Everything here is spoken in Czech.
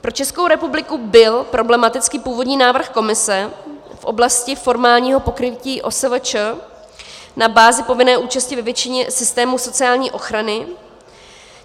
Pro Českou republiku byl problematický původní návrh Komise v oblasti formálního pokrytí OSVČ na bázi povinné účasti ve většině systémů sociální ochrany.